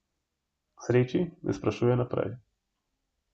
K sreči ne sprašuje naprej.